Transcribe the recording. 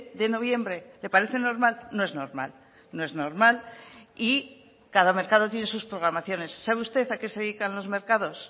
de noviembre le parece normal no es normal no es normal y cada mercado tiene sus programaciones sabe usted a qué se dedican los mercados